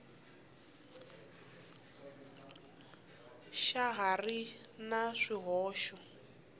xa ha ri na swihoxo